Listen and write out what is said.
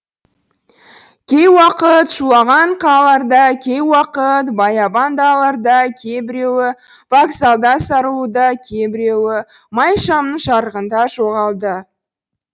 кей уақыт шулаған қалаларда кей уақыт баябан далаларда кейбіреуі вокзалда сарылуда кейбіреуі май шамның жарығында жоғалды